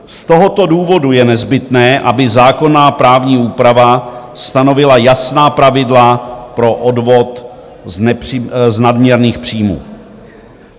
Z tohoto důvodu je nezbytné, aby zákonná právní úprava stanovila jasná pravidla pro odvod z nadměrných příjmů.